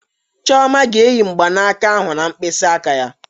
Chioma ga-eyi mgbanaka ahụ na mkpịsị aka ya